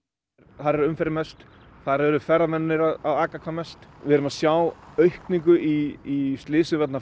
þar er umferðin mest þar eru ferðamennirnir að aka hvað mest við erum að sjá aukningu í slysum vegna